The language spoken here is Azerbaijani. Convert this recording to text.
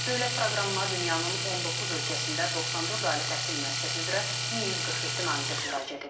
Dövlət proqramına dünyanın 19 ölkəsində 94 ali təhsil müəssisəsi üzrə 1147 namizəd müraciət edib.